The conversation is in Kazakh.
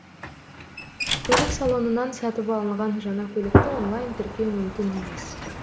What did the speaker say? көлік салонынан сатып алынған жаңа көлікті онлайн тіркеу мүмкін емес